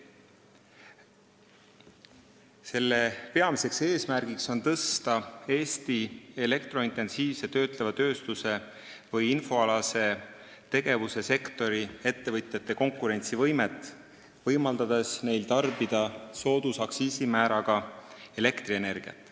Selle peamine eesmärk on tõsta Eesti elektrointensiivse töötleva tööstuse või infoalase tegevuse sektori ettevõtjate konkurentsivõimet, võimaldades neil tarbida soodusaktsiisimääraga maksustatavat elektrienergiat.